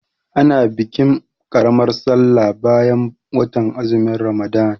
A na bikin ƙaramar sallar bayan watan azumin Ramalan.